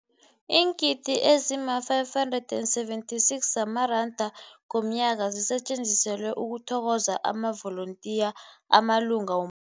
Iingidi ezima-576 zamaranda ngomnyaka zisetjenziselwa ukuthokoza amavolontiya amalunga wom